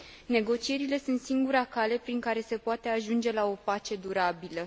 Negocierile sunt singura cale prin care se poate ajunge la o pace durabilă.